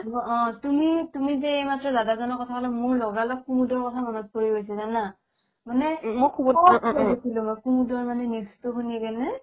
বোলো অ, তুমি তুমি যে এইমাত্ৰ দাদাজনৰ কথা ক'লা মোৰ লগালগ কুমুদৰ কথা মনত পৰি আছে জানা মানে মই কুমুদৰ shock খাই গৈছিলো কুমুদৰ মানে news টো শুনিকিনে